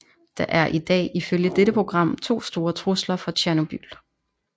Der er i dag ifølge dette program to store trusler fra Tjernobyl